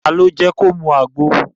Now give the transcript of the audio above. Ta ni ó mú u mu àgbo?